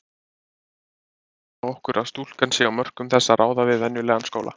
Við skulum gefa okkur að stúlkan sé á mörkum þess að ráða við venjulegan skóla.